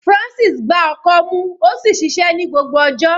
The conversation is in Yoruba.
Francis gbá ọkọ́ mú ó sì ṣiṣẹ́ ní gbogbo ọjọ́.